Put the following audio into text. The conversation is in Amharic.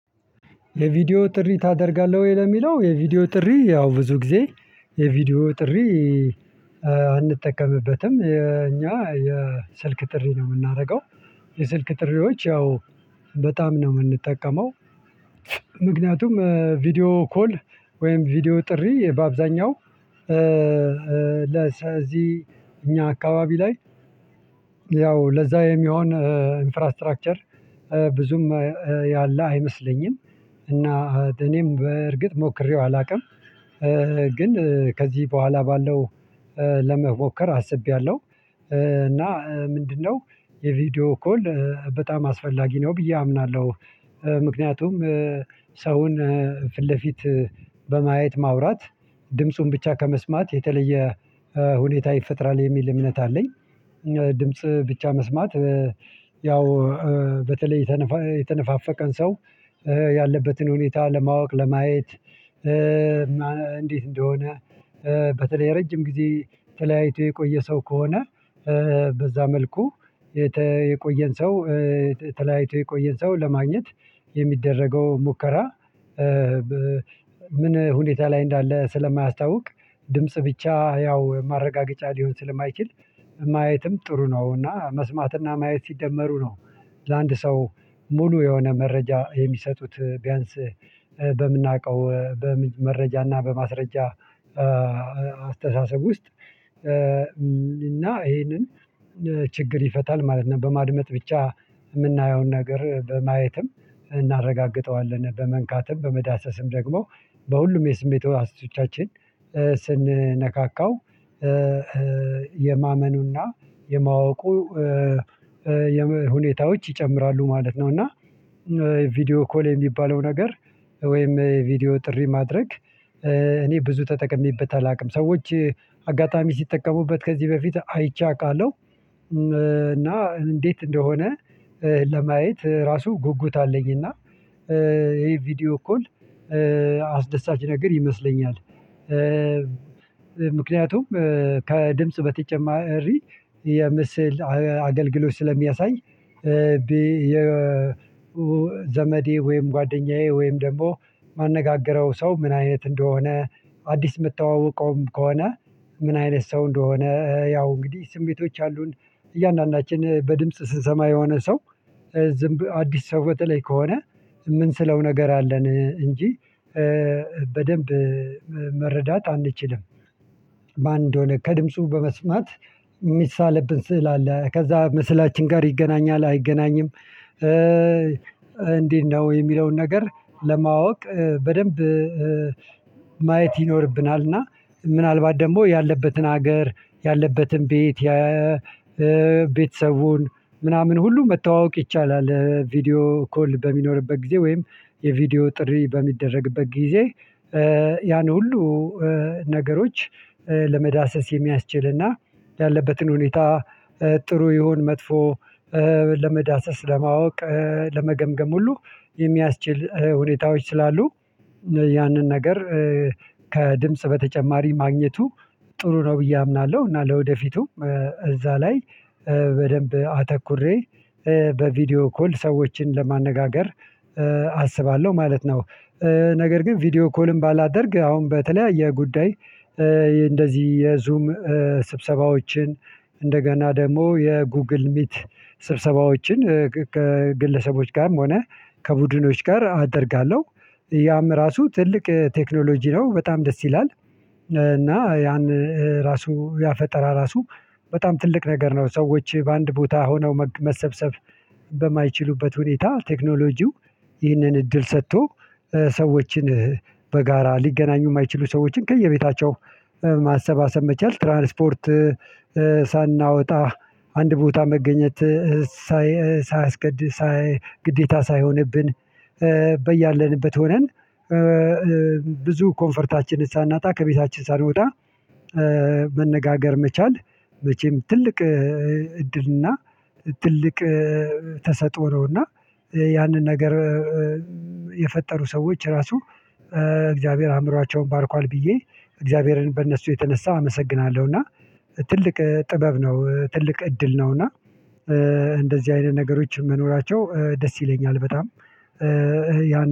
የቪዲዮ ጥሪ ታደርጋለህ ወይ ለሚለው የቪዲዮ ጥሪ ያው ብዙ ጊዜ የቪዲዮ ጥሪ? አንጠቀምበትም የኛ የስልክ ጥሪ ነው የምናደርገው የስልክ ጥሪዎች ያው በጣም ነው የምንጠቀመው። ምክንያቱም ቪዲዮ ኮል ወይም ቪዲዮ ጥሪ በአብዛኛው ለሰው እዚህ እኛ አካባቢ ላይ ያው ለዛ የሚሆን ኢንፍራስትራክቸር ብዙም ያለ አይመስለኝም እና እኔም በእርግጥ ሞክሬው አላውቅም ግን ከዚህ በኋላ ባለው ለመሞከር አስቤያለሁ። እና ምንድነው የቪዲዮ ኮል በጣም አስፈላጊ ነው ብዬ አምናለሁ። ምክንያቱም ሰውን ፊት ለፊት በማየት ማውራት ድምፁን ብቻ ከመስማት የተለየ ሁኔታ ይፈጥራል የሚል እምነት አለኝ። ድምጽ ብቻ መስማት ያው በተለይ የተነፋፈቀን ሰው ያለበትን ሁኔታ ለማወቅ ለማየት። እንዴት እንደሆነ በተለይ ረጅም ጊዜ ተለያይቶ የቆየ ሰው ከሆነ። በዛ መልኩ የቆየን ሰው ተለያይቶ የቆየን ሰው ለማግኘት የሚደረገው ሙከራ። ምን ሁኔታ ላይ እንዳለ ስለማያስታውቅ ድምጽ ብቻ ያው ማረጋገጫ ሊሆን ስለማይችል። ማየትም ጥሩ ነው እና መስማትና ማየት ሲደመሩ ነው። ለአንድ ሰው ሙሉ የሆነ መረጃ የሚሰጡት ቢያንስ በምናውቀው በመረጃና በማስረጃ አስተሳሰብ ውስጥ እና ይሄንን ችግር ይፈታል ማለት ነው። በማድመጥ ብቻ የምናየውን ነገር በማየትም እናረጋግጠዋለን በመንካትም በመዳሰስም ደግሞ በሁሉም የስሜት ህዋሳቶቻችን ስንነካካው የማመኑና የማወቁ የሁኔታዎች ይጨምራሉ ማለት ነው። እና ቪዲዮ ኮሌ የሚባለው ነገር ወይም ቪዲዮ ጥሪ ማድረግ እኔ ብዙ ተጠቅሜበት አላውቅም ሰዎች አጋጣሚ ሲጠቀሙበት ከዚህ በፊት አይቼ አውቃለሁ። እና እንዴት እንደሆነ ለማየት ራሱ ጉጉት አለኝና ይሄ ቪዲዮ ኮል አስደሳች ነገር ይመስለኛል። ምክንያቱም ከድምጽ በተጨማሪ የምስል አገልግሎት ስለሚያሳይ። የዘመዴ ወይም ጓደኛዬ ወይም ደግሞ ማነጋገረው ሰው ምን አይነት እንደሆነ አዲስ የምተዋወቀውም ከሆነ ምን አይነት ሰው እንደሆነ ያው እንግዲህ ስሜቶች አሉን እያንዳንዳችን በድምጽ ስንሰማ የሆነ ሰው ዝም አዲስ ሰው በተላይ ከሆነ ምንስለው ነገር አለን እንጂ በደንብ መረዳት አንችልም። በአንድ ሆነ ከድምፁ በመስማት የሚሳልብን ስዕል አለ ከዛ ምስላችን ጋር ይገናኛል አይገናኝም። እንዴት ነው የሚለውን ነገር ለማወቅ በደንብ ማየት ይኖርብናል። እና ምናልባት ደግሞ ያለበትን ሀገር ያለበትን ቤት የቤተሰቡን ምናምን ሁሉ መተዋወቅ ይቻላል። ቪዲዮ ኮልድ በሚኖርበት ጊዜ ወይም የቪዲዮ ጥሪ በሚደረግበት ጊዜ። ያን ሁሉ ነገሮች ለመዳሰስ የሚያስችልና ያለበትን ሁኔታ ጥሩ ይሁን መጥፎ ለመዳሰስ ለማወቅ ለመገምገም ሁሉ የሚያስችል ሁኔታዎች ስላሉ። ያንን ነገር ከድምጽ በተጨማሪ ማግኘቱ ጥሩ ነው ብዬ አምናለሁ። እና ለወደፊቱም እዛ ላይ በደንብ አተኩሬ በቪዲዮ ኮል ሰዎችን ለማነጋገር አስባለሁ ማለት ነው። ነገር ግን ቪዲዮ ኮልም ባላደርግ አሁን በተለያየ የጉዳይ እንደዚህ የዙም ስብሰባዎችን እንደገና ደግሞ የጉግል ሚት ስብሰባዎችን ከግለሰቦች ጋርም ሆነ ከቡድኖች ጋር አደርጋለሁ። ያም ራሱ ትልቅ ቴክኖሎጂ ነው በጣም ደስ ይላል። እና ያን ራሱ ያ ፈጠራ ራሱ በጣም ትልቅ ነገር ነው። ሰዎች በአንድ ቦታ ሆነው መሰብሰብ በማይችሉበት ሁኔታ ቴክኖሎጂው ይህንን እድል ሰጥቶ ሰዎችን በጋራ ሊገናኙ የማይችሉ ሰዎችን ከየቤታቸው ማሰባሰብ መቻል ትራንስፖርት። ሳናወጣ አንድ ቦታ መገኘት ሳይ ሳያስቀድ ሳይ ግዴታ ሳይሆንብን በያለንበት ሆነን። ብዙ ኮንፈርታችንን ሳናጣ ከቤታችን ሳንወጣ መነጋገር መቻል። መቼም ትልቅ እድልና ትልቅ ተሰጥኦ ነውና። ያንን ነገር የፈጠሩ ሰዎች ራሱ እግዚአብሔር አእምሯቸውን ባርኳል ብዬ እግዚአብሔርን በእነሱ የተነሳ አመሰግናለሁ። እና ትልቅ ጥበብ ነው ትልቅ እድል ነው። እና እንደዚህ አይነት ነገሮች መኖራቸው ደስ ይለኛል በጣም። ያን